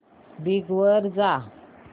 Bing वर जा